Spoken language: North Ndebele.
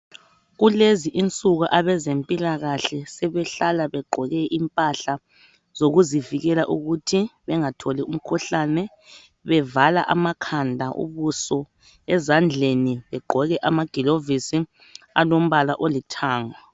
Kulezi insuku abezempilakahle sebehlala begqoke impahla zokuzivijela. Ukuthi bengatholi umkhuhlane. Bevala amakhanda, ubuso. Ezandkeni begqoka amagilovisi alombala olithanga.